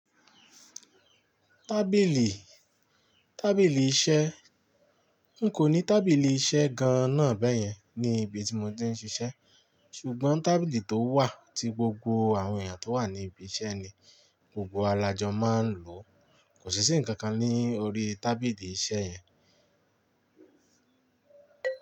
Tábìlì, tábìlì iṣẹ́. N kò ní tábìlì iṣẹ́ gan-an náa bẹ́yẹn ní ibi tí mo ti ń ṣiṣẹ́. Ṣùgbọ́n tábìlì tó wà tí gbogbo àwọn èèyàn tó wà ní ibi iṣẹ́ ni gbogbo wa lájọ máa ń lò. Kò sí ṣi ǹkan kan ní orí tábìlì iṣẹ́ yẹn.